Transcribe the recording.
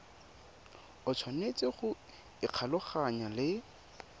o tshwanetse go ikgolaganya le